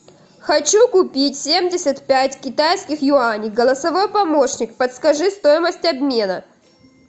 хочу купить семьдесят пять китайских юаней голосовой помощник подскажи стоимость обмена